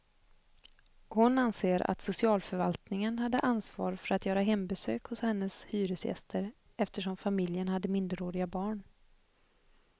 Hon anser att socialförvaltningen hade ansvar för att göra hembesök hos hennes hyresgäster eftersom familjen hade minderåriga barn.